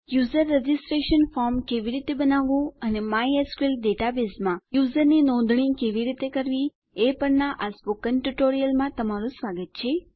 user registration form કેવી રીતે બનાવવું અને માયસ્કલ ડેટાબેઝમાં યુઝરની નોંધણી કેવી રીતે કરવી એ પરના આ સ્પોકન ટ્યુટોરીયલમાં સ્વાગત છે